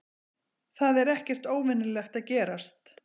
Það er ekkert óvenjulegt að gerast